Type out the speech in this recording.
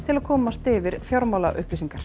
að komast yfir